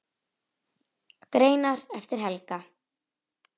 Greinar eftir Helga